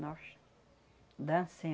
Não. Dans